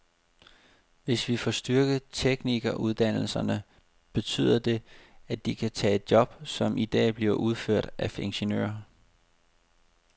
Hvis vi får styrket teknikeruddannelserne, betyder det, at de kan tage job, som i dag bliver udført af ingeniører.